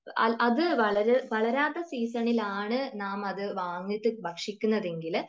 അത് വളരാത്ത സീസണിലാണ് നാം അത് വാങ്ങീട്ട് ഭക്ഷിക്കുന്നതെങ്കിൽ